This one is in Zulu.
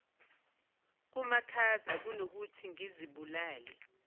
kumakhaza kunokuthi ngizibulale